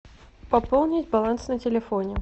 пополнить баланс на телефоне